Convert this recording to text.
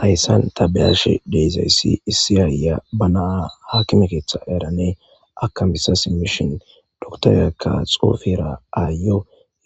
Hayssan ta beyashe dizayssi issi ayiya ba na'a haakime keththa eehadanne akamisashe dokitereyikka xuufera ayiyo